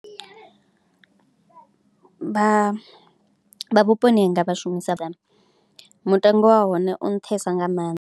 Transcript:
Vha vhuponi hanga vha shumisesa data, mutengo wa hone u nṱhesa nga maanḓa.